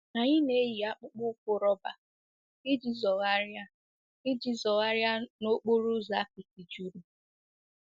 Anyị na-eyi akpụkpọ ụkwụ rọba iji zọgharịa iji zọgharịa n'okporo ụzọ apịtị juru.